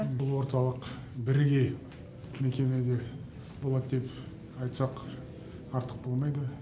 бұл орталық бірегей мекемеде болады деп айтсақ артық болмайды